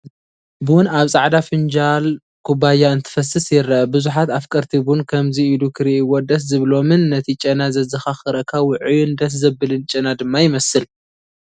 ቡን ኣብ ጻዕዳ ፊንጃል/ ኩባያ እንትፈስስ ይረአ። ብዙሓት ኣፍቀርቲ ቡን ከምዚ ኢሎ ክሪእዎ ደስ ዝብሎምን ነቲ ጨና ዘዘኻኽረካ ውዑይን ደስ ዘብልን ጨና ድማ ይመስል።